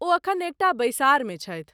ओ एखन एक टा बैसारमे छथि।